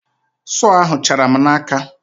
Sọọ ahụ chara m n'aka.